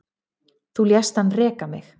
Þú lést hann reka mig